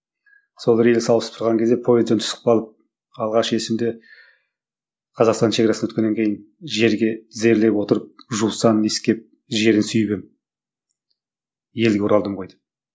сол рельс ауыстырған кезде пойыздан түсіп қалып алғаш есімде қазақстан шегарасына өткеннен кейін жерге тізерлеп отырып жусанын иіскеп жерін сүіп едім елге оралдым ғой деп